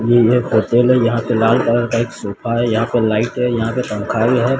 यह एक होटल है यहां पे लाल कलर का एक सोफा है यहां पे लाइट है यहां पे पंखा भी है।